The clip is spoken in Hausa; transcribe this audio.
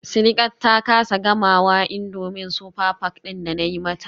Sidiqat ta kasa gamawa indomie super pack din da nayi mata.